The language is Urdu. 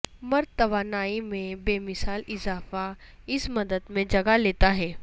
مرد توانائی میں بے مثال اضافہ اس مدت میں جگہ لیتا ہے